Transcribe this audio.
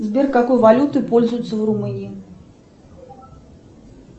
сбер какой валютой пользуются в румынии